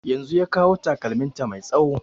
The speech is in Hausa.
Yanzun ya kawo takalmin ta mai tsawo